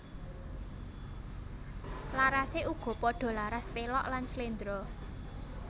Larasé uga padha laras pélog lan sléndro